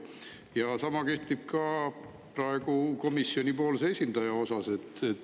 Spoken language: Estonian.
Ja sama kehtib praegu ka komisjoni esindaja kohta.